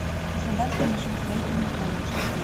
краснодарский машиностроительный колледж